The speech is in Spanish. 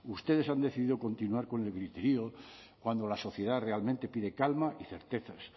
ustedes han decidido continuar con el griterío cuando la sociedad realmente pide calma y certezas